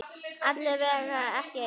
Alla vega ekki enn.